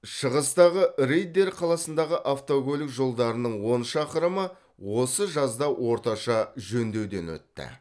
шығыстағы риддер қаласындағы автокөлік жолдарының он шақырымы осы жазда орташа жөндеуден өтті